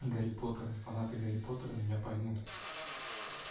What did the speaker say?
гарри поттер фанаты гарри поттера меня поймут